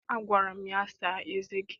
Agwara m ya, saa eze gị!